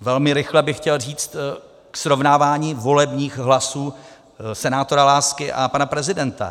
Velmi rychle bych chtěl říct k srovnávání volebních hlasů senátora Lásky a pana prezidenta.